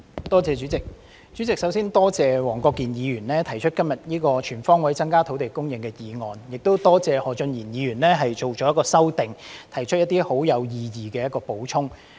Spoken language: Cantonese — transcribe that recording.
代理主席，我首先感謝黃國健議員今天提出"全方位增加土地供應"議案，亦感謝何俊賢議員提出修正案，作出一些十分有意義的補充。